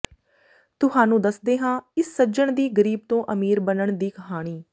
ਤੁਹਾਨੂੰ ਦੱਸ ਦੇ ਹਾਂ ਇਸ ਸੱਜਣ ਦੀ ਗਰੀਬ ਤੋਂ ਅਮੀਰ ਬੰਨਣ ਦੀ ਕਹਾਣੀ